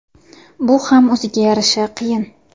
Bu ham o‘ziga yarasha qiyin.